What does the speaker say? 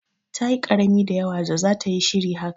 Ta yi karami da yawa da zata yi shiri haka.